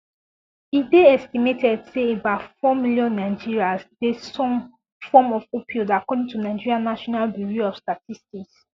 e dey estimated say about four million nigerians dey some form of opioid according to nigeria national bureau of statistics